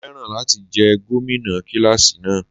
Mo féràn láti jẹ́ gómìnà kíláàsì náà.